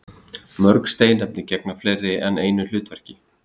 Mörg steinefni gegna fleiri en einu hlutverki.